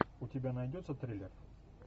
у тебя найдется триллер